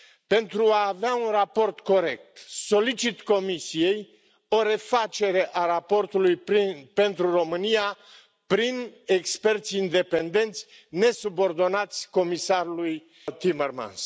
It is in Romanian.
Pentru a avea un raport corect, solicit Comisiei o refacere a raportului pentru România, prin experți independenți, nesubordonați comisarului Timmermans.